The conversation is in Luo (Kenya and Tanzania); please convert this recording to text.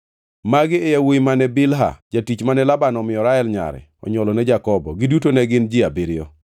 Magi e yawuowi mane Bilha, jatich mane Laban omiyo Rael nyare onywolone Jakobo. Giduto ne gin ji abiriyo.